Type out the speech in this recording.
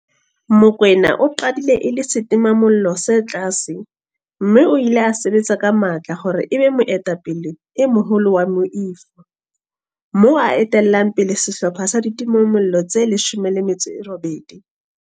Mokoena o qadile e le setimamollo se tlase mme o ile a sebetsa ka matla hore e be moetapele e moholo wa moifo, moo a etellang pele sehlopha sa ditimamollo tse 18.